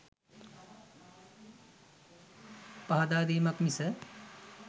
පහදා දීමක් මිස